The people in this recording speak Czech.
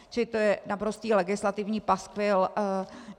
Čili to je naprostý legislativní paskvil.